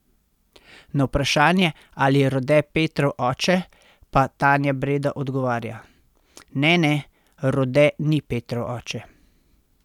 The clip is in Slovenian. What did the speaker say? Na vprašanje, ali je Rode Petrov oče, pa Tanja Breda odgovarja: 'Ne, ne, Rode ni Petrov oče.